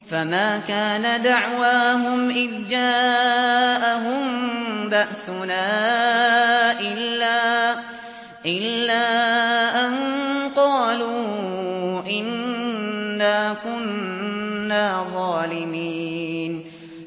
فَمَا كَانَ دَعْوَاهُمْ إِذْ جَاءَهُم بَأْسُنَا إِلَّا أَن قَالُوا إِنَّا كُنَّا ظَالِمِينَ